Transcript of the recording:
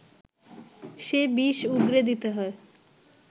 সে বিষ উগরে দিতে হয়